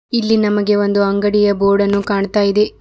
ಇಲ್ಲಿ ನಮಗೆ ಒಂದು ಅಂಗಡಿಯ ಬೋರ್ಡ್ ಅನ್ನು ಕಾಣ್ತಾ ಇದೆ.